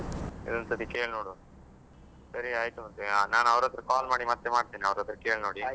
ಇನ್ನೊಂದು ಸತ್ತಿ ಕೇಳಿ ನೋಡುವಾ ಸರಿ ಆಯ್ತು ಮತ್ತೆ ನಾನ್ ಅವರತ್ರ call ಮಾಡಿ ಮತ್ತೆ ಮಾಡ್ತೇನೆ ಅವರತ್ರ ಕೇಳಿ ನೋಡಿ.